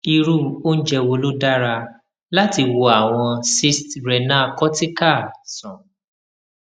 irú oúnjẹ wo ló dára láti wo àwọn cysts renal cortical sàn